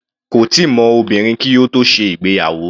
Kò tíì mọ obìnrin kí ó tó ṣe ìgbéyàwó.